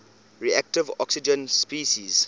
reactive oxygen species